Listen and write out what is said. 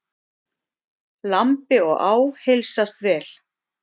Lambi og á heilsast vel.